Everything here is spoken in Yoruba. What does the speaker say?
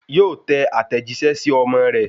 Yóò tẹ àtẹ̀jíṣẹ́ sí ọmọ rẹ̀